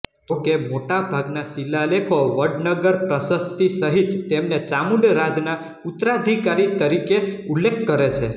જોકે મોટા ભાગના શિલાલેખો વડનગર પ્રશસ્તિ સહિત તેમને ચામુંડરાજના ઉત્તરાધિકારી તરીકે ઉલ્લેખ કરે છે